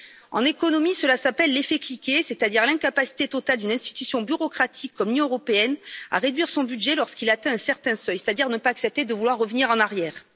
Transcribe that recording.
En économie, cela s'appelle l'effet cliquet, c'est à dire l'incapacité totale d'une institution bureaucratique comme l'Union européenne, à réduire son budget lorsqu'il atteint un certain seuil, c'est à dire ne pas accepter de vouloir revenir en arrière.